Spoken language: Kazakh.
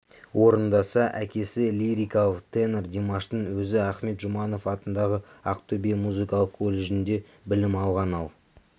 орындаса әкесі лирикалық тенор димаштың өзі ахмет жұбанов атындағы ақтөбе музыкалық колледжінде білім алған ал